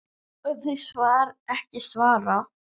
ef þau ekki svara